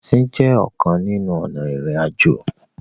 Ẹsìn jé ọkàn nínú ònà irin-ajo.